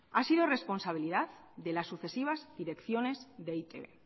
ha sido responsabilidad de las sucesivas direcciones de eitb